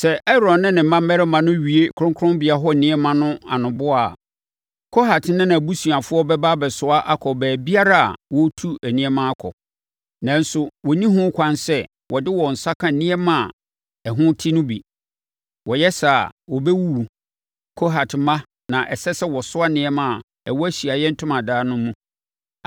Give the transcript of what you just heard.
“Sɛ Aaron ne ne mma mmarima no wie kronkronbea hɔ nneɛma no anoboa a, Kohat ne nʼabusuafoɔ bɛba abɛsoa akɔ baabiara a wɔretu nneɛma akɔ. Nanso wɔnni ho kwan sɛ wɔde wɔn nsa ka nneɛma a ɛho te no bi. Wɔyɛ saa a, wɔbɛwuwu. Kohat mma na ɛsɛ sɛ wɔsoa nneɛma a ɛwɔ Ahyiaeɛ Ntomadan no mu.